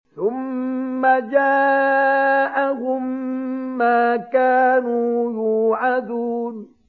ثُمَّ جَاءَهُم مَّا كَانُوا يُوعَدُونَ